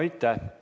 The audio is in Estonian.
Aitäh!